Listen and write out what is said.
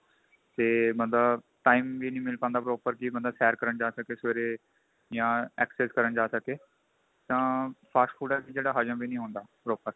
ਤੇ ਬੰਦਾ time ਵੀ ਨਹੀਂ ਮਿਲ ਪਾਂਦਾ proper ਕੀ ਬੰਦਾ ਸੈਰ ਕਰਨ ਜਾ ਸਕੇ ਸਵੇਰੇ ਜਾ exercise ਕਰਨ ਜਾ ਸਕੇ ਤਾਂ fast food ਐਸੀ ਜਗ੍ਹਾ ਹਜਮ ਵੀ ਨਹੀਂ ਹੁੰਦਾ proper